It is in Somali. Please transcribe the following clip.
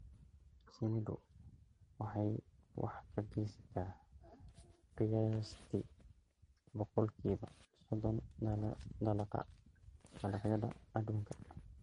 Shinnidu waxay wax ka geysataa qiyaastii boqolkiiba soddon dalagga dalagyada adduunka